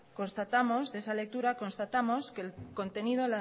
constatamos de esa lectura que el contenido